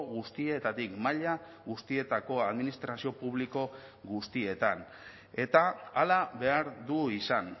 guztietatik maila guztietako administrazio publiko guztietan eta hala behar du izan